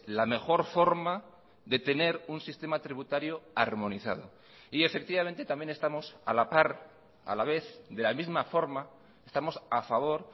la mejor forma de tener un sistema tributario armonizado y efectivamente también estamos a la par a la vez de la misma forma estamos a favor